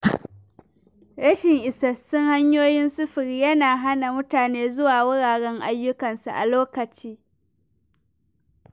Rashin isassun hanyoyin sufuri yana hana mutane zuwa wuraren ayyukansu a kan lokaci.